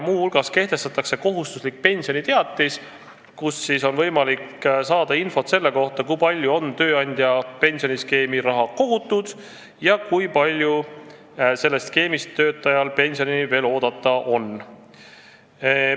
Muu hulgas kehtestatakse kohustuslik pensioniteatis, kust on võimalik saada infot selle kohta, kui palju on tööandja pensioniskeemi raha kogutud ja kui palju sellest skeemist töötajal veel pensionini oodata on.